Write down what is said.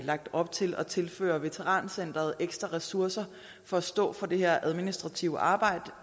lagt op til at tilføre veterancenteret ekstra ressourcer for at stå for det her administrative arbejde